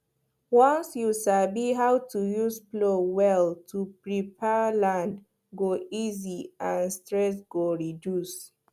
once you sabi how to use plow well to prepare land go easy and stress go reduce